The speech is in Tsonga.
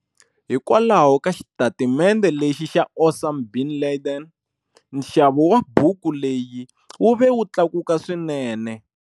Hikokwalaho ka xitatimende lexi xa Osam bin Laden, nxavo wa buku leyi wu ve wu tlakuka swinene.